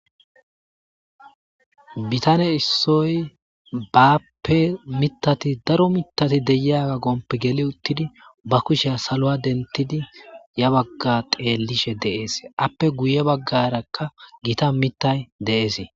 bitane issoy baappe mitati daro mitati deyia gompe geli uttidi ba kusheya saloa dentidi ya bagga qeellishe deees appe guye baggarakka gita mitay de7esee